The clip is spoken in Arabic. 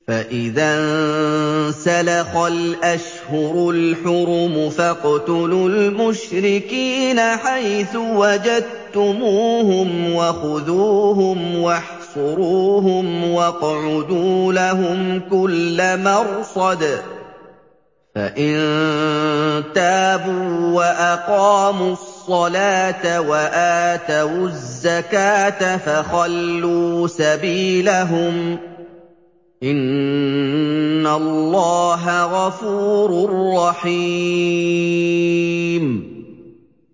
فَإِذَا انسَلَخَ الْأَشْهُرُ الْحُرُمُ فَاقْتُلُوا الْمُشْرِكِينَ حَيْثُ وَجَدتُّمُوهُمْ وَخُذُوهُمْ وَاحْصُرُوهُمْ وَاقْعُدُوا لَهُمْ كُلَّ مَرْصَدٍ ۚ فَإِن تَابُوا وَأَقَامُوا الصَّلَاةَ وَآتَوُا الزَّكَاةَ فَخَلُّوا سَبِيلَهُمْ ۚ إِنَّ اللَّهَ غَفُورٌ رَّحِيمٌ